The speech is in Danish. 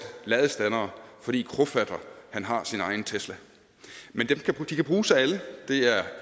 ladestandere fordi krofatter har sin egen tesla de kan bruges af alle og det er